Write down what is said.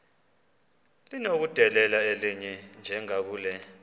linokudedela elinye njengakule